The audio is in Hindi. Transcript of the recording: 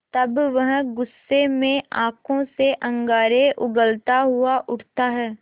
तब वह गुस्से में आँखों से अंगारे उगलता हुआ उठता है